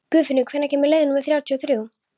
Guðfinnur, hvenær kemur leið númer þrjátíu og þrjú?